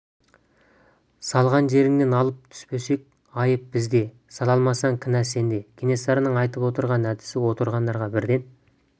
салған жеріңнен алып түспесек айып бізде сала алмасаң кінә сенде кенесарының айтып отырған әдісі отырғандарға бірден